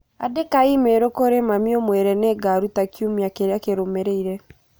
Andĩka i-mīrū kũrĩ mami ũmwĩre nĩ ngaruta kiumia kĩrĩa kĩrũmĩrĩire